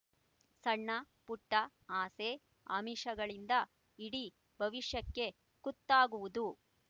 ಸಣ್ಣ ಪುಟ್ಟ ಆಸೆ ಆಮಿಷಗಳಿಂದ ಇಡೀ ಭವಿಷ್ಯಕ್ಕೆ ಕುತ್ತಾಗುವುದು